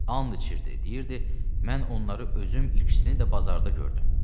And içirdi, deyirdi mən onları özüm ikisini də bazarda gördüm.